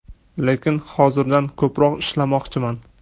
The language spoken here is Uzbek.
Lekin hozirgidan ko‘proq ishlamoqchiman.